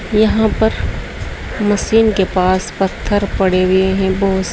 यहां पर मशीन के पास पत्थर पड़े हुए हैं बहोत से।